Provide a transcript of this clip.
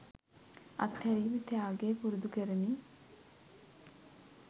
අත්හැරීම ත්‍යාගය පුරුදු කරමි.